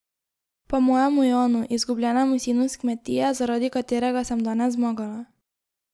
Pa mojemu Janu, izgubljenemu sinu s Kmetije, zaradi katerega sem danes zmagala.